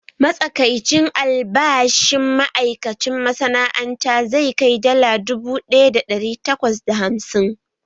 Matsakaicin albashin ma’aikacin masana’anta zai kai dala dubu ɗaya da ɗari takwas da hamsin